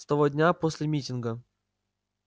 с того дня после митинга